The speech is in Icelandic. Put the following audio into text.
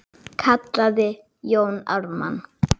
kallaði Jón Ármann.